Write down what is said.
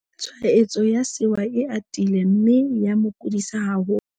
tshwaetso ya sewa e atile mme ya mo kudisa haholo